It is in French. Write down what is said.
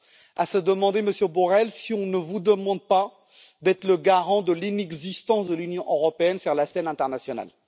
C'est à se demander, Monsieur Borrell, si on ne vous demande pas d'être le garant de l'inexistence de l'Union européenne sur la scène internationale.